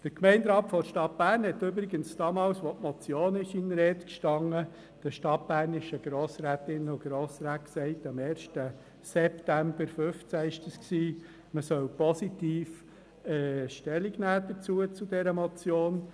Der Gemeinderat der Stadt Bern hat übrigens damals, als die Motion zur Debatte stand, den stadtbernischen Grossrätinnen und Grossräten gesagt – das war am 1. September 2015 –, man solle positiv Stellung dazu nehmen.